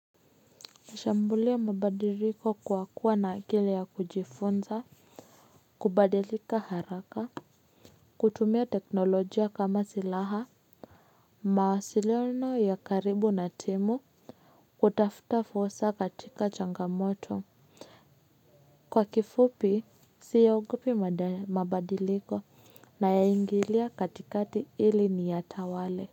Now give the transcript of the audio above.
Nishambulia mabadiliko kwa kuwa na akili ya kujifunza, kubadilika haraka, kutumia teknolojia kama silaha, mawasiliono ya karibu na timu, kutafuta fursa katika changamoto. Kwa kifupi, siyaogopi mabadiliko nayaingilia katikati ili niyatawale.